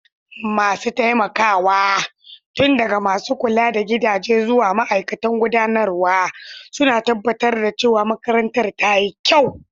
Masu taimakawa, tun daga masu kula da gidaje zuwa ma'aikatan gudanarwa, suna tabbatar da cewa makarantar ta yi kyau.